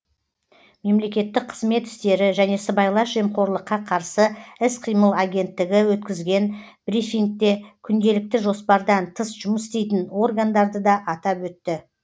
мемлекеттік қызмет істері және сыбайлас жемқорлыққа қарсы іс қимыл агенттігі өткізген брифингте күнделікті жоспардан тыс жұмыс істейтін органдарды да атап өтті